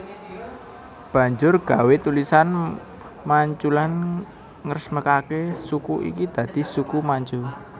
Banjur gawé tulisan Manchulan ngresmekake suku iki dadi Suku Manchu